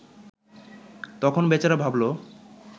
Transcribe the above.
তখন বেচারা ভাবল